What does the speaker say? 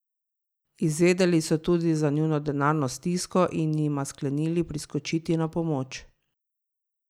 Izvedeli so tudi za njuno denarno stisko in jima sklenili priskočiti na pomoč.